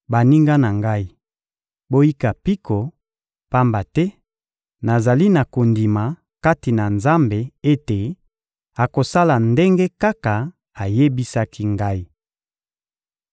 Baninga na ngai, boyika mpiko, pamba te nazali na kondima kati na Nzambe ete akosala ndenge kaka ayebisaki ngai.